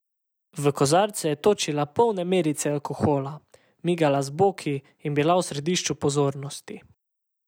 V kozarce je točila polne merice alkohola, migala z boki in bila v središču pozornosti.